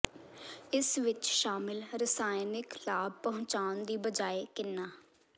ਇਸ ਵਿਚ ਸ਼ਾਮਿਲ ਰਸਾਇਣਕ ਲਾਭ ਪਹੁੰਚਾਉਣ ਦੀ ਬਜਾਏ ਕਿੰਨਾ